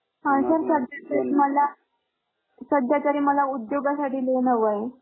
हा sir मला सध्याचारी मला उद्योगासाठी लेवा हवाय.